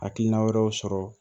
Hakilina wɛrɛw sɔrɔ